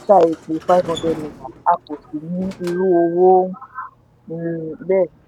epo five hundred naira a kò sì ní irú owó um bẹ́ẹ̀.